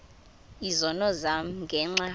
izono zam ngenxa